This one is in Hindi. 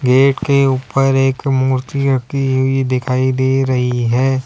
गेट के ऊपर एक मूर्ति रखी हुई दिखाई दे रही है।